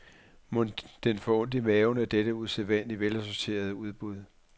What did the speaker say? Mon den får ondt i maven af dette usædvanlig velassorterede udbud?